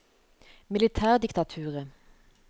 militærdiktaturet